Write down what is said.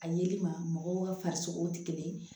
A yelima mɔgɔw ka farisogo tɛ kelen ye